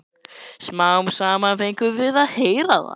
Smám saman fengum við að heyra það.